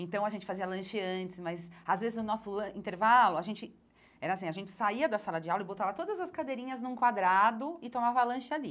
Então, a gente fazia lanche antes, mas às vezes, no nosso lan intervalo, a gente era assim a gente saía da sala de aula e botava todas as cadeirinhas num quadrado e tomava lanche ali.